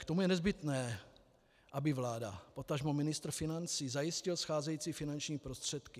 K tomu je nezbytné, aby vláda, potažmo ministr financí zajistil scházející finanční prostředky.